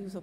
Die